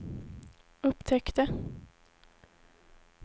upptäckte